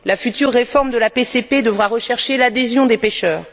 La future réforme de la PCP devra rechercher l'adhésion des pêcheurs.